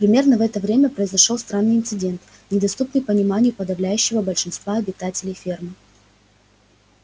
примерно в это время произошёл странный инцидент недоступный пониманию подавляющего большинства обитателей фермы